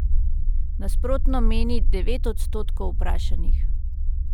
Nasprotno meni devet odstotkov vprašanih.